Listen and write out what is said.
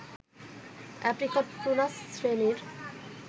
apricot prunus শ্রেণীর